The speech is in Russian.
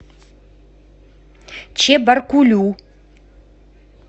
чебаркулю